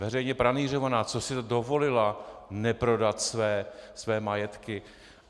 Veřejně pranýřovaná, co si dovolila - neprodat své majetky!